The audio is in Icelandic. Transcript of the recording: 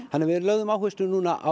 við lögðum áherslu núna á